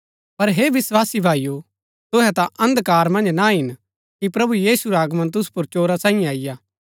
पर हे विस्वासी भाईओ तुहै ता अन्धकार मन्ज ना हिन कि प्रभु यीशु रा आगमन तुसु पुर चोरा सांईये अईआ